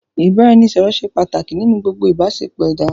Ìbáraẹnisọ̀rọ̀ ṣé pàtàkì nínú gbogbo ìbáṣepọ̀ ẹ̀dá.